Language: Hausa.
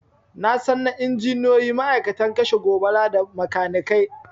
Nasan na injiniyoyi, ma'aikatan kashe gobara, da makanikai